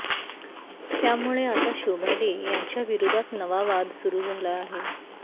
त्यामुळे आता शोभा डे यांच्याविरोधात नाव वाद सुरू झाला आहे